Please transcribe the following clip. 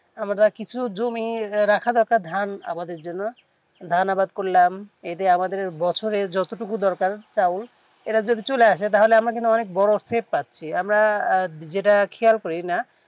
আমাদের আর কিছু জমি রাখা রাখা ধান জমি আমাদের ধান আবাদ করলাম এতে আমাদের বছরে যত টুকু দরকার চাউল আর চলে আসে ধান ধান আমাদের বড়ো set আছে আমরা যেটা খেয়াল করি না